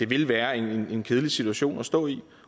vil være en kedelig situation at stå i